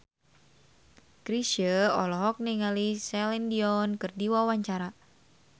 Chrisye olohok ningali Celine Dion keur diwawancara